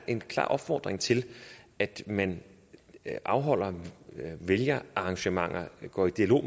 en klar opfordring til at man afholder arrangementer går i dialog